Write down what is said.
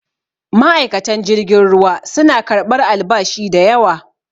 ma'aikatan jirgin ruwa suna karɓar albashi da yawa